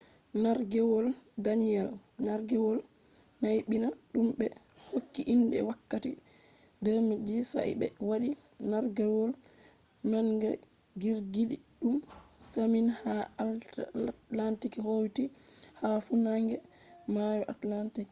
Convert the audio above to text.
nargewol danielle nargewol naybina dum be hokki inde wakkati 2010 sa’a be wadi nargewol manga girgidum masin ha atlantic hauti ha funange mayo atlantic